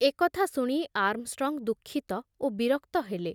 ଏ କଥା ଶୁଣି ଆର୍ମଷ୍ଟ୍ରଙ୍ଗ ଦୁଃଖିତ ଓ ବିରକ୍ତ ହେଲେ।